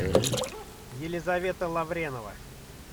елизавета лавренова